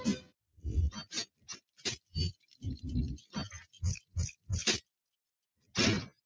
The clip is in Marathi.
हम्म